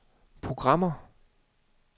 programmer